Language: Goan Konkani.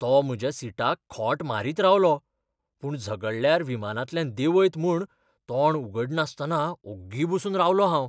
तो म्हज्या सीटाक खोंट मारीत रावलो, पूण झगडल्यार विमानांतल्यान देंवयत म्हूण तोंड उगडनासतना ओग्गी बसून रावलों हांव.